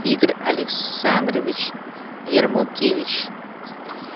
игорь александрович ярмолкевич